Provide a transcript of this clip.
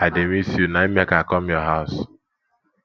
i dey miss you na im make i come your house